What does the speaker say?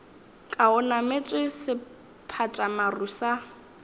ka o nametše sephatšamaru sa